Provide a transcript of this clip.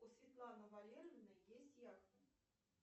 у светланы валерьевны есть яхта